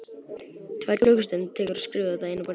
Tvær klukkustundir tekur að skrifa þetta eina bréf.